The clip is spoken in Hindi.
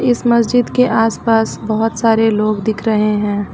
इस मस्जिद के आस पास बहुत सारे लोग दिख रहे हैं।